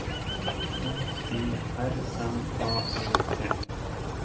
F I R M A E T